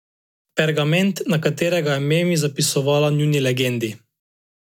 Pergament, na katerega je Memi zapisovala njuni legendi.